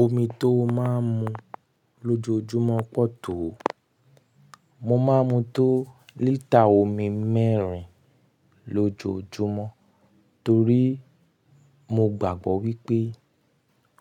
Omi tó máa ń mu lójoojúmọ́ pọ̀ tó. Mo máa ń mu tó lítà omi mẹ́rin lójoojúmọ́, torí mo gbàgbọ́ wípé